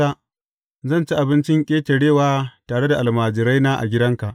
Zan ci Bikin Ƙetarewa tare da almajiraina a gidanka.’